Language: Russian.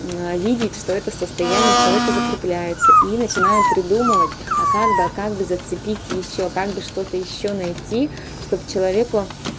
видеть что это состояние у человека закрепляется и начинает придумывать а как бы а как бы зацепить ещё как бы что-то ещё найти чтобы человеку